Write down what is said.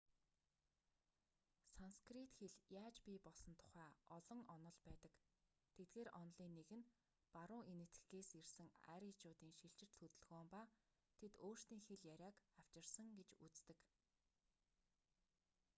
санскрит хэл яаж бий болсон тухай олон онол байдаг тэдгээр онолын нэг нь баруун энэтхэгээс ирсэн аричуудын шилжилт хөдөлгөөн ба тэд өөрсдийн хэл яриаг авчирсан гэж үздэг